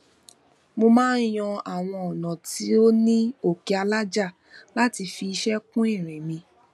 mo maa n yan awọn ònà tó ní oke alaja láti fi iṣẹ kun ìrìn mi